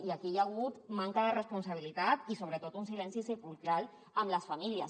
i aquí hi ha hagut manca de responsabilitat i sobretot un silenci sepulcral amb les famílies